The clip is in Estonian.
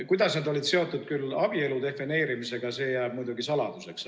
Kuidas need olid seotud küll abielu defineerimisega, see jääb muidugi saladuseks.